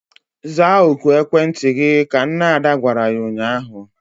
Zaa oku ekwentị gị! Ka nne Ada gwara ya ụnyaahụ.